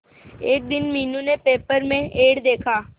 एक दिन मीनू ने पेपर में एड देखा